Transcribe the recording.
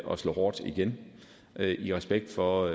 og slå hårdt igen i respekt for